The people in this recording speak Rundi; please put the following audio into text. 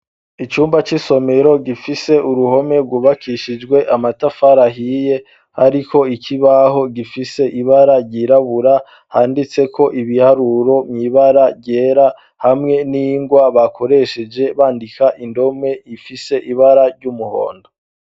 Icumba c'isomero gifise uruhome rwubakishijwe amatafara hiye ariko ikibaho gifise ibara ryirabura handitse ko ibiharuro muibara ryera hamwe n'ingwa bakoresheje bandika indome ifise ibara ry'umuhondo.